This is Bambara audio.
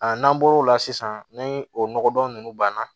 n'an bɔr'o la sisan ni o nɔgɔdon ninnu banna